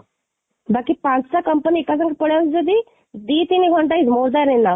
ବାକି ପାଞ୍ଚଟା company ଏକ ସାଙ୍ଗରେ ପଳେଇଆସୁଛି ଯଦି ଦୁଇ ତିନି ଘଣ୍ଟା ହିଁ more than enough